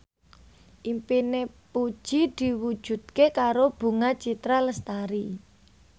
impine Puji diwujudke karo Bunga Citra Lestari